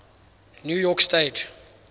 new york stage